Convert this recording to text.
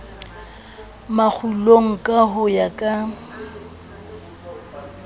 makgulong ka ho ya ka